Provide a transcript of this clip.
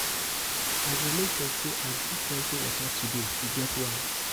i go make sure sey i drink plenty water today e get why.